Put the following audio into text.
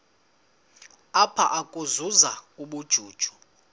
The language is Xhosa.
apha ukuzuza ubujuju